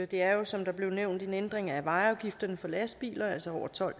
det er jo som der blev nævnt en ændring af vejafgifterne for lastbiler altså over tolv